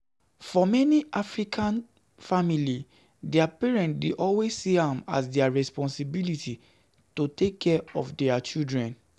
For many African families, di parent dey always see am as their responsibility to take care of di children